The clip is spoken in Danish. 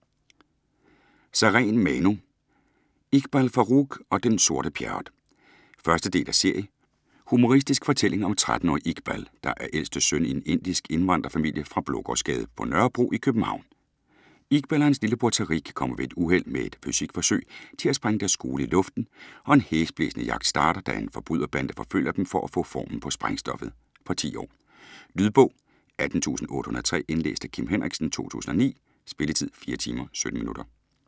Sareen, Manu: Iqbal Farooq og den sorte Pjerrot 1. del af serie. Humoristisk fortælling om 13-årige Iqbal, der er ældste søn i en indisk indvandrerfamilie fra Blågårdsgade på Nørrebro i København. Iqbal og hans lillebror Tariq kommer ved et uheld med et fysikforsøg til at sprænge deres skole i luften, og en hæsblæsende jagt starter, da en forbryderbande forfølger dem for at få formlen på sprængstoffet! Fra 10 år. Lydbog 18803 Indlæst af Kim Henriksen, 2009. Spilletid: 4 timer, 17 minutter.